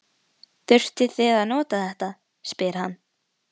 Þurfið þið að nota þetta? spyr hann.